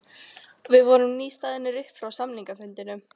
Við vorum nýstaðnir upp frá samningafundinum.